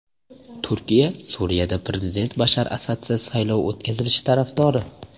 Turkiya Suriyada prezident Bashar Asadsiz saylov o‘tkazilishi tarafdori.